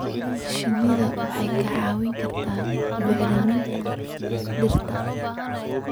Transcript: Shinnidu waxay kaa caawin kartaa bacriminta dhirta.